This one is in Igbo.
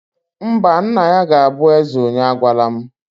Mba, nna ya ga-abụ eze onye agwala m